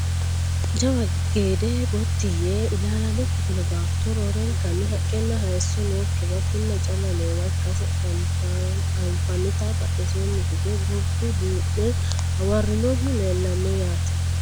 jawa gede gotti yite ilaalaame ikkitino baatto roorenka haqqenna hayseesso nokkiwa kinna calla noowa ikkase anfannite badheseeni hige gordu duu'me hawarrinohu leellanno yaate